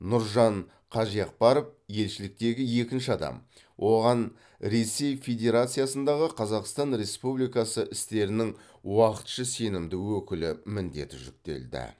нұржан қажиақбаров елшіліктегі екінші адам оған ресей федерациясындағы қазақстан республикасы істерінің уақытша сенімді өкілі міндеті жүктелді